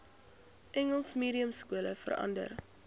engels mediumskole verander